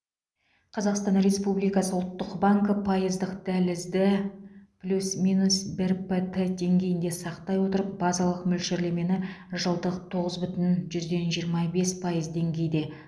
қазақстан республикасы ұлттық банкі пайыздық дәлізді плюс минус бір п т деңгейінде сақтай отырып базалық мөлшерлемені жылдық тоғыз бүтін жүзден жиырма бес пайыз деңгейде